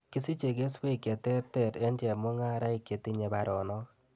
Kisiche keswek cheterter en chemungaraik chetinye baronok